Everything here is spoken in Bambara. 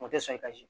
O tɛ sɔn i ka si